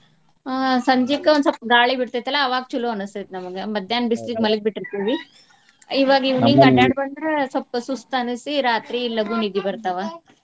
ಅಹ್ ಸಂಜೀಕ್ ಒಂದ್ ಸ್ವಪ್ಪ ಗಾಳಿ ಬಿಡ್ತೇತಿಲಾ ಅವಾಗ್ ಚಲೋ ಅನಸ್ತೆತಿ ನಮಗ್. ಮಧ್ಯಾಹ್ನ ಬಿಸ್ಲಿಗೆ ಮಲಗಿ ಬಿಟ್ಟಿರ್ತಿವಿ . ಇವಾಗ evening ಅಡ್ಯಾಡಿ ಬಂದ್ರ ಸ್ವಪ್ಪ ಸುಸ್ತ ಅನಸಿ ರಾತ್ರಿ ಲಘು ನಿದ್ದಿ ಬರ್ತಾವ .